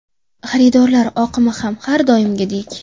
Xaridorlar oqimi ham har kungidek.